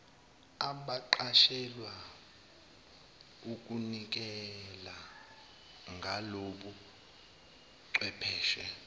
abaqashelwa ukunikela ngalobuchwepheshe